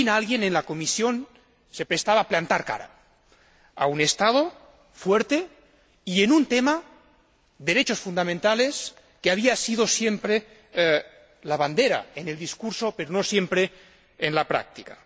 Por fin, alguien en la Comisión se atrevía a plantar cara a un Estado fuerte y en un tema, derechos fundamentales, que había sido siempre la bandera en el discurso, pero no siempre en la práctica.